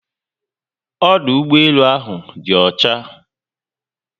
Ọdụ ụgbọelu áhù dị ọcha